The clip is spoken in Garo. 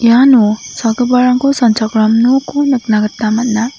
iano sagiparangko sanchakram nokko nikna gita man·a.